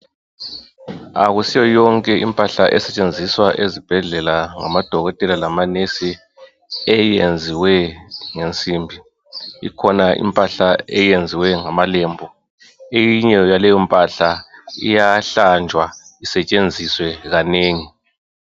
Akusiyo yonke impahla esetshenziswa ezibhedlela ngamadokotela labomongikazi eyenziwe ngensimbi ikhona impahla eyenziwe ngamalembu eyinye yaleyo mpahla iyahlanjwa isetshenziswe kanengi.